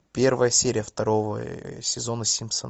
первая серия второго сезона симпсоны